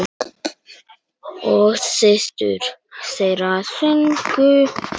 Og systur þeirra sungu.